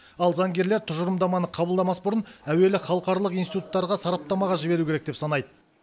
ал заңгерлер тұжырымдаманы қабылдамас бұрын әуелі халықаралық институттарға сараптамаға жіберу керек деп санайды